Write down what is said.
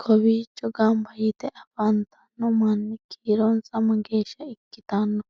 kowiicho ganba yite afantanno manni kiironsa mageeshsha ikkitanno?